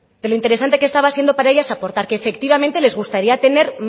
de los interesante que estaba siendo para ellas aportar que efectivamente les gustaría tener